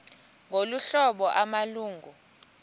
ngolu hlobo amalungu